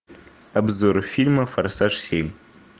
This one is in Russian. обзоры фильма форсаж семь